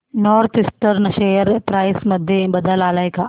north eastern share price मध्ये बदल आलाय का